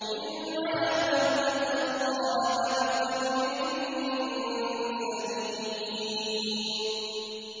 إِلَّا مَنْ أَتَى اللَّهَ بِقَلْبٍ سَلِيمٍ